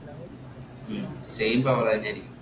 ഉം same power ആയി ജനിക്കും.